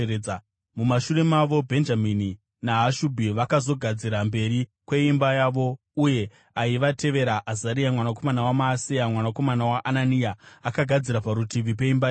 Mumashure mavo, Bhenjamini naHashubhi vakazogadzira mberi kweimba yavo; uye aivatevera, Azaria mwanakomana waMaaseya, mwanakomana waAnania, akagadzira parutivi peimba yake.